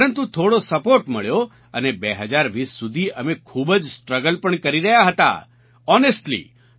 પરંતુ થોડો સપોર્ટ મળ્યો અને 2020 સુધી અમે ખૂબ જ સ્ટ્રગલ પણ કરી રહ્યા હતા હોનેસ્ટલી